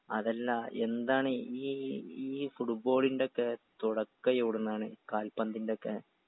അതല്ല എന്താണ് ഈ ഈ ഫുഡ്ബോളിൻ്റെക്കെ തുടക്കം എവിടുന്നാണ് കാൽപ്പന്തിൻ്റെക്കെ